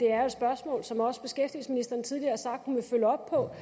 er et spørgsmål som også beskæftigelsesministeren tidligere har sagt hun vil følge op på